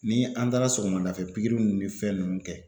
Ni an taara sɔgɔmada fɛ pikiriw ninnu ni fɛn nunnu kɛ